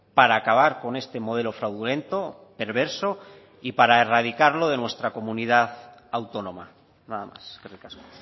para acabar con este modelo fraudulento perverso y para erradicarlo de nuestra comunidad autónoma nada más eskerrik asko